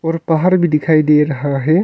और पहाड़ भी दिखाई दे रहा है।